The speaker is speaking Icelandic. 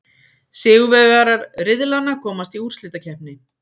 Sigurvegarar riðlanna komast í úrslitakeppni.